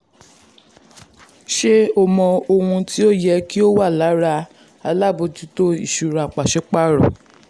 ṣé o mọ ohun tí o yẹ kí um o wò lára alábòjútó ìṣúra pàṣípààrọ̀?